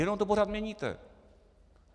Jenom to pořád měníte.